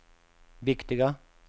viktiga